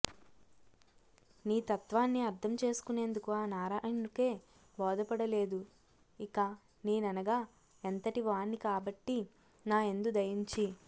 నీ తత్త్వాన్ని అర్ధం చేసుకునేందుకు ఆ నారాయణుడికే భోదపడలేదు ఇక నేననగా ఎంతటివాణ్ణి కాబట్టి నా యందు దయుంచి